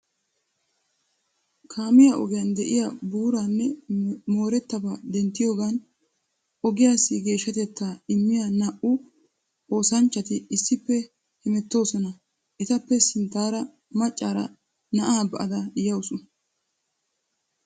Kaamiya ogiyan de'iya buuraa nne moorettabaa denttiyogan ogiyassi geeshshatettaa immiya naa"u oosanchchati issippe hemettoosona. Etappe sinttaara maccaara na'aa ba'ada yawusu.